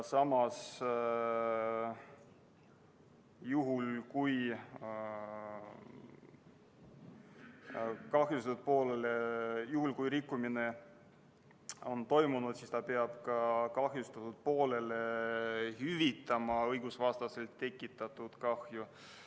Juhul, kui rikkumine on toimunud, peab kahjustatud poolele hüvitama õigusvastaselt tekitatud kahju.